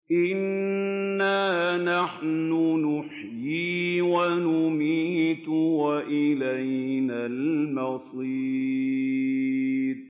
إِنَّا نَحْنُ نُحْيِي وَنُمِيتُ وَإِلَيْنَا الْمَصِيرُ